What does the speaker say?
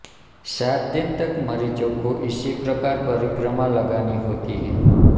सात दिन तक मरीज को इसी प्रकार परिक्रमा लगानी होती है